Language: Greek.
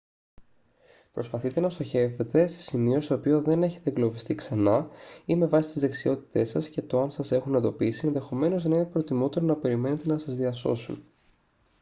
προσπαθείτε να στοχεύετε σε σημείο στο οποίο δεν έχετε εγκλωβιστεί ξανά ή με βάση τις δεξιότητές σας και το αν σας έχουν εντοπίσει ενδεχομένως να είναι προτιμότερο να περιμένετε να σας διασώσουν